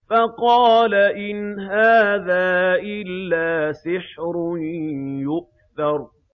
فَقَالَ إِنْ هَٰذَا إِلَّا سِحْرٌ يُؤْثَرُ